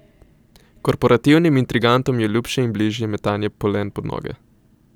Korporativnim intrigantom je ljubše in bližje metanje polen pod noge.